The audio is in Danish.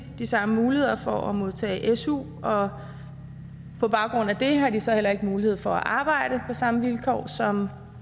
de samme muligheder for at modtage su og på baggrund af det har de så heller ikke mulighed for at arbejde samme vilkår som